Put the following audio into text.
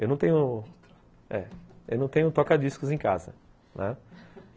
Eu não tenho eh toca-discos em casa.